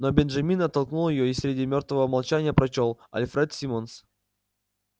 но бенджамин оттолкнул её и среди мёртвого молчания прочёл альфред симмонс